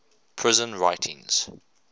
prison writings